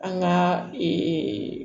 An ka ee